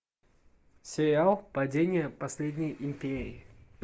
сериал падение последней империи